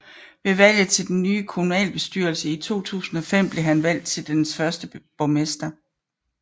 Ved valget til den nye kommunalbestyrelse i 2005 blev han valgt til dens første borgmester